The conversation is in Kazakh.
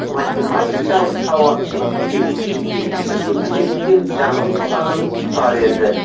математикалық сауаттылық кезінде келген есептерден жаңылғаным бар еді